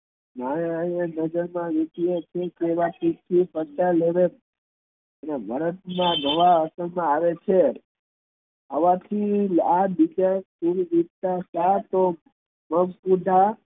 નજર માં અને ભારત મા ઘણા આવે છે